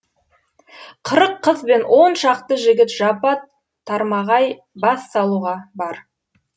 қырық қыз бен он шақты жігіт жапа тармағай бас салуға бар